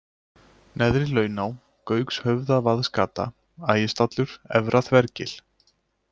Neðrilauná, Gaukshöfðavaðsgata, Ægisstallur, Efra-Þvergil